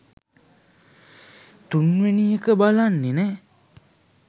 තුන්වෙනි එක බලන්නෙ නෑ